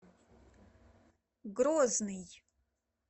грозный